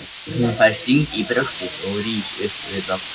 Hún fær sting í brjóstið og rís upp við dogg.